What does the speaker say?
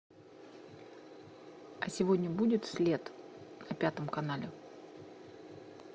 а сегодня будет след на пятом канале